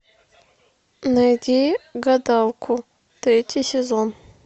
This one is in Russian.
найди гадалку третий сезон